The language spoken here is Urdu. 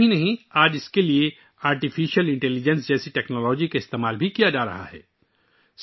یہی نہیں، آج اس کے لیے آرٹیفیشل انٹیلی جنس جیسی ٹیکنالوجی کا بھی استعمال کیا جا رہا ہے